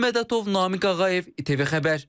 Vurğun Mədətov, Namiq Ağayev, ATV Xəbər.